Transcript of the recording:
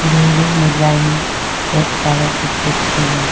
Building मे line red colour का खींच के है।